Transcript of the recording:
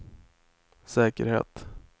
säkerhet